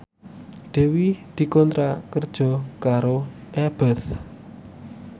Dewi dikontrak kerja karo Abboth